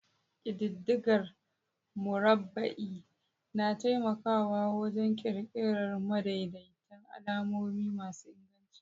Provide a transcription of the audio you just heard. Ƙididdigar murabba'i na taimakawa wajen ƙirƙirar madaidaitan alamomi masu inganci.